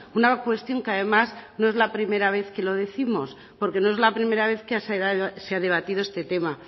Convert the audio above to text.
una cuestión que además no es la primera vez que lo décimos porque no es la primera vez que se ha debatido este tema